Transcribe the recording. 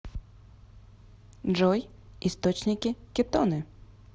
джой источники кетоны